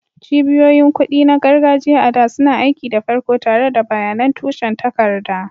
Cibiyoyin kuɗi na gargajiya, a da, suna aiki da farko tare da bayanan tushen takarda.